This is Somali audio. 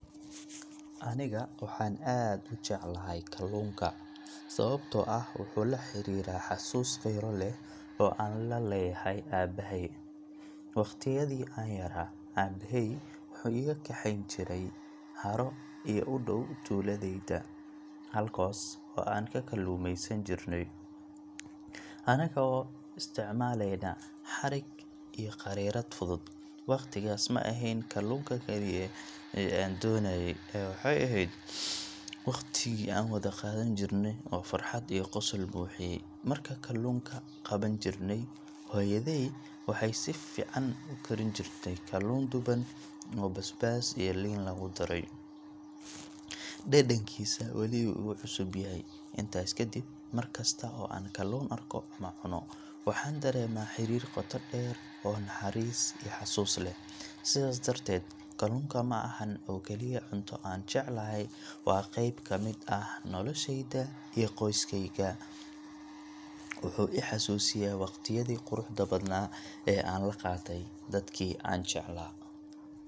Aniga waxaan aad u jeclahay kallunka ,sabatoo ah waxuu la xariraa xasuus qiiro leh oo aan la leyahay abbahey. Waqtiyadii aan yaraa abbaheey waxuu iga kaxeyn jiray haro ee udhow tuladeyda ,halkaas oo aan ka kallumeysan jirnay ,anagoo isticmaleyna xarig iyo qariirada fudud ,waqtigaas ma ahyn kalluunka kaliye ee aan donaaye ,waxey aheyd waqtigii aan wada qadan jirnay oo qosol iyo farxad buxiyay. Marka kalluunka qaban jirnay, hoyadey waxey sifican u karin jirtay kallun duban oo basbaas iyo liin lagu daray .Dhadhankiisa wali wuu igu cusub yahay ,malintaas kadibmarkasto oo aan kalluun arko ama cuno ,waxaan daremaa xariir qoto dheer oo naxariis iyo xasuus leh. Sidaas darteed kalluunka ma ahan oo kaliya cunto aan jeclahay ,waa qeyb kamid ah qoyskeyga iyo noloshyda. Waxuu i xasusiyaa waqtiyadii quruxda badnaa ee aan la qatay dadkii aan jeclaa .